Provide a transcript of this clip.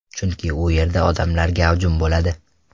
Chunki u yerda odamlar gavjum bo‘ladi.